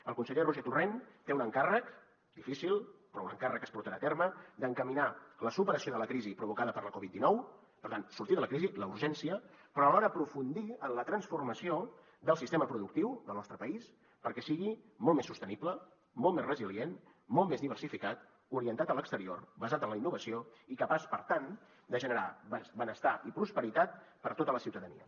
el conseller roger torrent té un encàrrec difícil però un encàrrec que es portarà a terme d’encaminar la superació de la crisi provocada per la covid dinou per tant sortir de la crisi la urgència però alhora aprofundir en la transformació del sistema productiu del nostre país perquè sigui molt més sostenible molt més resilient molt més diversificat orientat a l’exterior basat en la innovació i capaç per tant de generar benestar i prosperitat per a tota la ciutadania